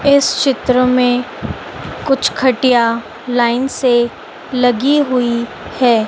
इस चित्र में कुछ खटिया लाइन से लगी हुई है।